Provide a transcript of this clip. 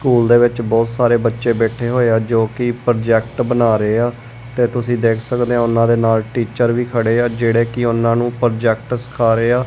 School ਦੇ ਵਿੱਚ ਬਹੁਤ ਸਾਰੇ ਬੱਚੇ ਬੈੱਠੇ ਹੋਏ ਹਾਂ ਜੋਕਿ ਪ੍ਰੋਜੈਕਟ ਬਨਾ ਰਹੇ ਹਾਂ ਤੇ ਤੁਸੀ ਦੇਖ ਸਕਦੇ ਹੋ ਓਹਨਾ ਦੇ ਨਾਲ ਟੀਚਰ ਵੀ ਖੜੇ ਆ ਜੇਹੜੇ ਕਿ ਓਹਨਾ ਨੂ ਪ੍ਰੋਜੈਕਟ ਸਿੱਖਾਂ ਰਹੇ ਹਾਂ।